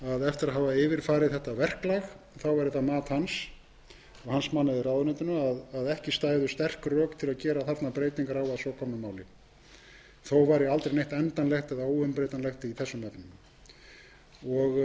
eftir að hafa yfirfarið þetta verklag væri það mat hans og hans manna í ráðuneytinu að ekki stæðu sterk rök til að gera þarna breytingar á að svo komnu máli þó væri aldrei neitt endanlegt eða óumbreytanlegt í þessum efnum með þessu svari kom